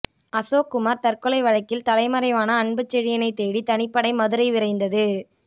அசோக்குமார் தற்கொலை வழக்கில் தலைமறைவான அன்புச்செழியனை தேடி தனிப்படை மதுரை விரைந்தது